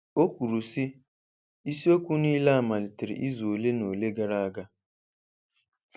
Ọ kwuru, sị: ‘Isi okwu niile a malitere izu ole na ole gara aga.’